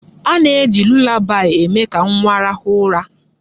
A na-eji lulabaị eme ka nwa rahụ ụra.